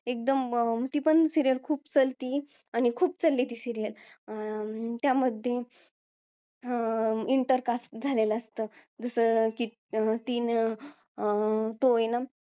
एकदम ती पण serial खूप चालती आणि ती serial पण खूप चालली ती serial अं त्या मध्ये अं intercaste झालेलं असतं जसं अं की तिनं नं